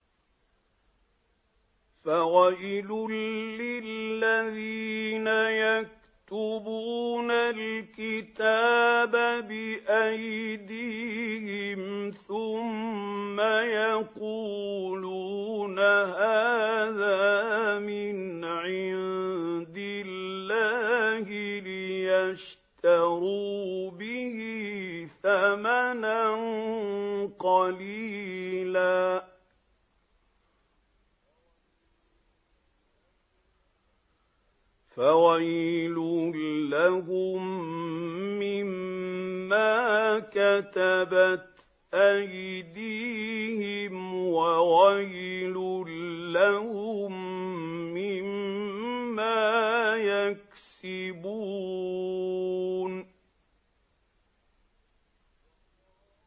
فَوَيْلٌ لِّلَّذِينَ يَكْتُبُونَ الْكِتَابَ بِأَيْدِيهِمْ ثُمَّ يَقُولُونَ هَٰذَا مِنْ عِندِ اللَّهِ لِيَشْتَرُوا بِهِ ثَمَنًا قَلِيلًا ۖ فَوَيْلٌ لَّهُم مِّمَّا كَتَبَتْ أَيْدِيهِمْ وَوَيْلٌ لَّهُم مِّمَّا يَكْسِبُونَ